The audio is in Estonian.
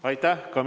Aitäh!